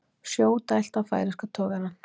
Sjó dælt á færeyska togarann